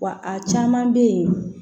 Wa a caman bɛ yen